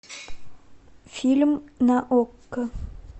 фильм на окко